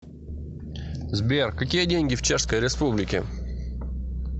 сбер какие деньги в чешской республике